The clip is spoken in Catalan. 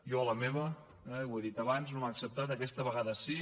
jo a la meva eh ho he dit abans no m’ho han acceptat aquesta vegada sí